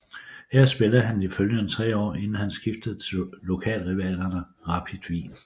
Her spillede han de følgende tre år inden han skiftede til lokalrivalerne Rapid Wien